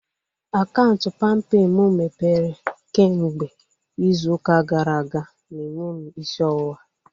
Akaụntụ palmpay mụ mepere kemgbe izu ụka gara aga na-enye m isi ọwụwa